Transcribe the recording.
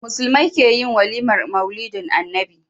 Musulmai keyin walimar maulidin annabi